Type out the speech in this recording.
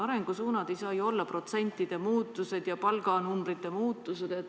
Arengusuunad ei saa ju olla protsentide muutused ja palganumbrite muutused.